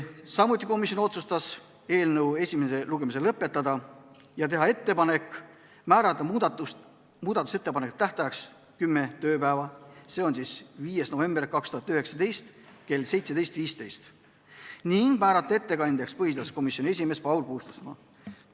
Samuti otsustati eelnõu esimene lugemine lõpetada ja teha ettepanek määrata muudatusettepanekute tähtajaks kümme tööpäeva, seega 5. november 2019 kell 17.15, ning määrata ettekandjaks põhiseaduskomisjoni esimees Paul Puustusmaa.